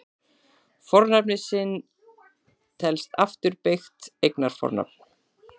Fornafnið sinn telst afturbeygt eignarfornafn.